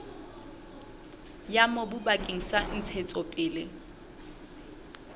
ya mobu bakeng sa ntshetsopele